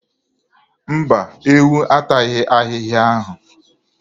Mba, ewu ataghị ahịhịa ahụ.